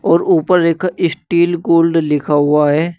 और ऊपर एक स्टील गोल्ड लिखा हुआ है।